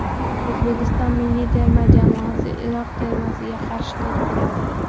O‘zbekiston milliy terma jamoasi Iroq termasiga qarshi to‘p suradi.